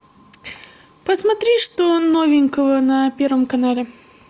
посмотри что новенького на первом канале